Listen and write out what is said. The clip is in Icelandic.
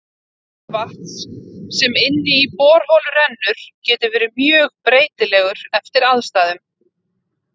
Hiti vatns sem inn í borholu rennur getur verið mjög breytilegur eftir aðstæðum.